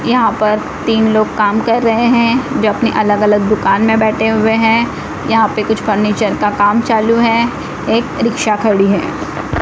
यहां पर तीन लोग काम कर रहे हैं जो अपने अलग अलग दुकान में बैठे हुए हैं यहां पे कुछ फर्नीचर का काम चालू है एक रिक्शा खड़ी हैं।